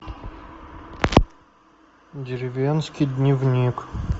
деревенский дневник